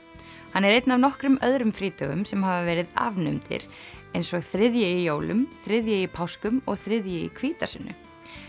hann er einn af nokkrum öðrum frídögum sem hafa verið afnumdir eins og þriðji í jólum þriðji í páskum og þriðji í hvítasunnu